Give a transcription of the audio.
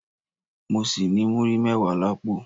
Mọ ṣì ní múrí mẹ́wàá l'ápò